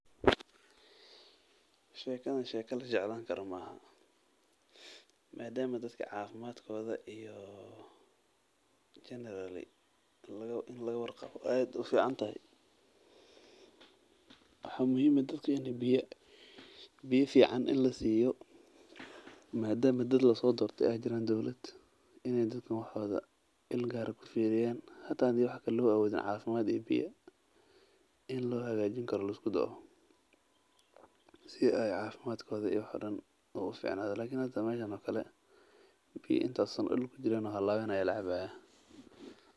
Shekadan sheeka la jeclaan karo maahan madama dadka cafimaadkooda in laga war qabo aad aay ufican tahay dadka lasoo dortee waa inaay dadka il gaar ah kufiriyaan oo xitaa biya nadiif ah siiyan.